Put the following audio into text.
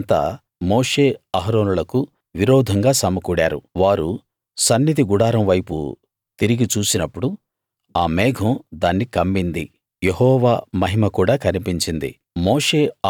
సమాజమంతా మోషే అహరోనులకు విరోధంగా సమకూడారు వారు సన్నిధి గుడారం వైపు తిరిగి చూసినప్పుడు ఆ మేఘం దాన్ని కమ్మింది యెహోవా మహిమ కూడా కనిపించింది